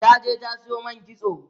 ta je ta Sayo man kitso